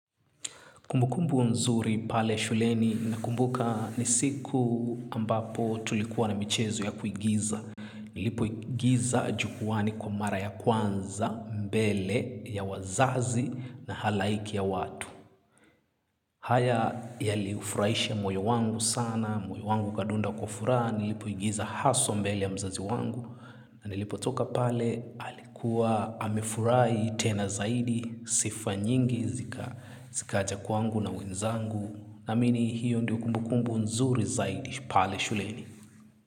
Kumbukumbu nzuri pale shuleni nakumbuka ni siku ambapo tulikuwa na michezo ya kuigiza. Nilipoigiza jukwani kwa mara ya kwanza, mbele ya wazazi na halaiki ya watu. Haya yaliufurahisha moyo wangu sana, moyo wangu ukadunda kwa furaha, nilipoigiza haswa mbele ya mzazi wangu. Nilipotoka pale alikuwa amefurahi tena zaidi sifa nyingi zikaja kwangu na wenzangu naamini hiyo ndio kumbukumbu nzuri zaidi pale shuleni.